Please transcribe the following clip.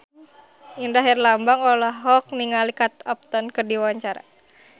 Indra Herlambang olohok ningali Kate Upton keur diwawancara